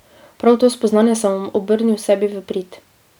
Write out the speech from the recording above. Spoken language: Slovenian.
Prav to spoznanje sem obrnil sebi v prid.